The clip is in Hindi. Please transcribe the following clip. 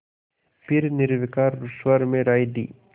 फिर निर्विकार स्वर में राय दी